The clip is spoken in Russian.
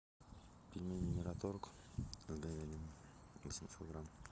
пельмени мираторг с говядиной восемьсот грамм